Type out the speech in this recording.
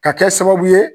Ka kɛ sababu ye